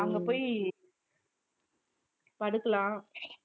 அங்க போயி படுக்கலாம்